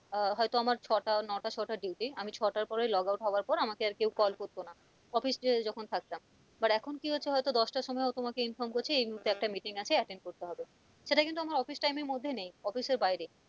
আহ হয়তো আমার ছটা- নাট, নটা ও ছটা duty আমি ছটার পরে logout হওয়ার পর আমাকে আর কেউ call করতো না office এ যখন থাকতাম but এখন কি হচ্ছে হয়তো দশটার সময়ও তোমাকে inform করছে এই মুহুর্তে একটা meeting আছে attend করতে হবে সেটা কিন্তু আমার office time এর মধ্যে নেই office এর বাইরে।